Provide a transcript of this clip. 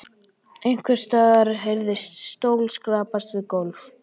Einhvers staðar heyrðist stóll skrapast við gólf.